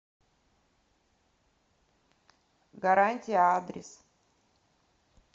гарантия адрес